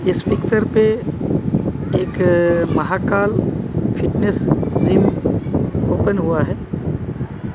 इस पिक्चर पे एक महाकाल फिटनेस जिम ओपन हुआ है।